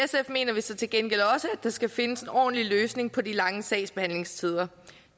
mener vi så til gengæld også at der skal findes en ordentlig løsning på de lange sagsbehandlingstider